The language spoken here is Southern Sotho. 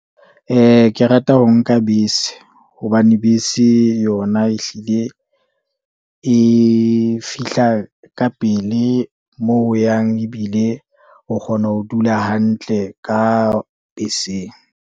ke rata ho nka bese, hobane bese yona ehlile e fihla ka pele moo o yang, ebile o kgona ho dula hantle. Ka beseng.